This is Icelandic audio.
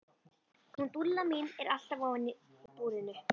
Hún Dúlla mín er alltaf ofan í búrinu.